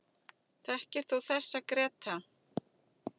Þekkir þú þessa, Gréta?